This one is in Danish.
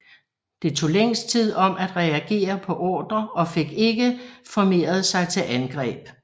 Det tog længst tid om at reagere på ordrer og fik ikke formeret sig til angreb